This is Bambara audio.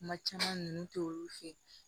Kuma caman ninnu tɛ olu fɛ